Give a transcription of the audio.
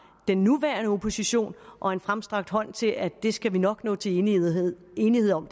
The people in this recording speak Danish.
den nuværende opposition og en fremstrakt hånd til at det her skal vi nok nå til enighed enighed om